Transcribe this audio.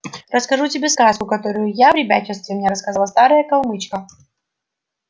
расскажу тебе сказку которую в ребячестве мне рассказывала старая калмычка